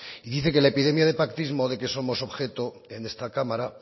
y dice que la epidemia de pactismo de que somos objeto en esta cámara